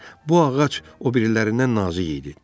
Bu ağac o birilərindən nazik idi.